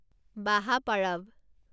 বাহা পৰৱ